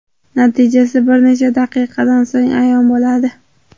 Natijasi bir necha daqiqadan so‘ng ayon bo‘ladi.